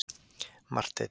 Marteinn